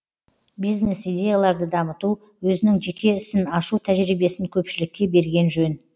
бизнес идеяларды дамыту өзінің жеке ісін ашу тәжірибесін көпшілікке берген жөн